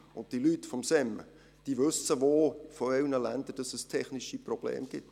Zudem wissen die Leute vom SEM, in welchen Ländern es technische Probleme gibt.